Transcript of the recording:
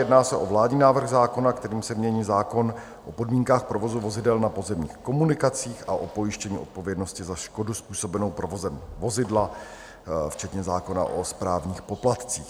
Jedná se o vládní návrh zákona, kterým se mění zákon o podmínkách provozu vozidel na pozemních komunikacích a o pojištění odpovědnosti za škodu způsobenou provozem vozidla, včetně zákona o správních poplatcích.